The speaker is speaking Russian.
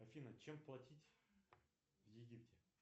афина чем платить в египте